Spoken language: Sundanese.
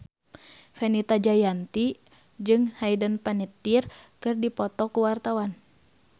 Fenita Jayanti jeung Hayden Panettiere keur dipoto ku wartawan